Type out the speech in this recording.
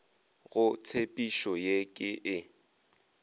go tshepišo ye ke e